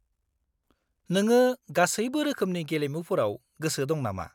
-नोङो गासैबो रोखोमनि गेलेमुफोराव गोसो दं नामा?